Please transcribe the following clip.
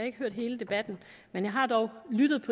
ikke hørt hele debatten men jeg har dog lyttet